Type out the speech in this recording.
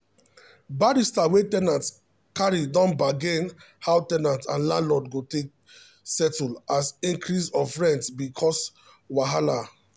barrister wey ten ant carry don bargain how ten ant and landlord go take settle as increase of rent be cause wahala